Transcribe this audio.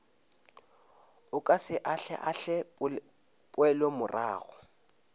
o ka se ahlaahle poelomorago